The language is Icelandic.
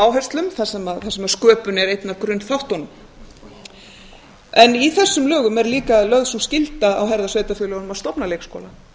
áherslum þar sem sköpun er einn af grunnþáttunum í þessum lögum er líka lögð sú skylda á herðar sveitarfélögunum að stofna leikskóla